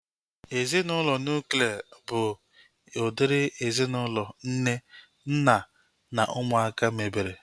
Ezinaụlọ nuklia bụ udiri ezinaụlọ nne, nna na ụmụaka mebere